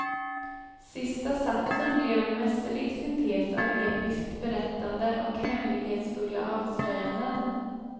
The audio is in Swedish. Sista satsen blev en mästerlig syntes av episkt berättande och hemlighetsfulla avslöjanden.